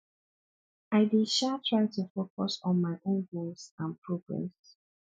i dey um try to focus on my own goals and progress